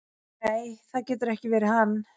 """Nei, það getur ekki verið hann."""